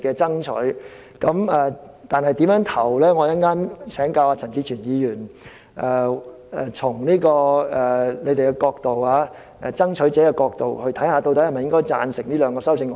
至於最後我會如何投票，稍後我會請教陳志全議員，嘗試從他們爭取者的角度，看看是否也贊成這兩項修正案。